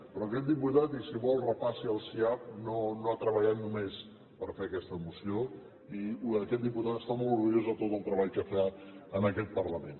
però aquest diputat i si vol repassi el siap no ha treballat només per fer aquesta moció i aquest diputat està molt orgullós de tot el treball que fa en aquest parlament